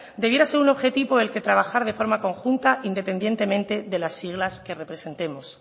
debiera ser un objetivo por el que trabajar de forma conjunta independientemente de las siglas que representemos